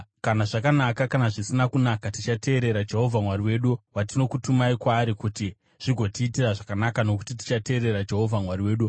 Kana zvakanaka, kana zvisina kunaka tichateerera Jehovha Mwari wedu, watinokutumai kwaari kuti zvigotiitira zvakanaka, nokuti tichateerera Jehovha Mwari wedu.”